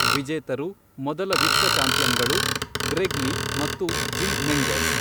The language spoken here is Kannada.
ವಿಜೇತರು, ಮೊದಲ "ವಿಶ್ವ ಚಾಂಪಿಯನ್ಗಳು", ಗ್ರೆಗ್ ಲೀ ಮತ್ತು ಜಿಮ್ ಮೆಂಗೆಸ್.